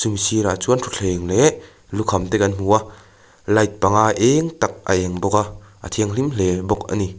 hemi sirah chuan thuthleng leh lukham te kan hmu a light panga eng tak a eng bawk a a thianghlim hle bawk ani.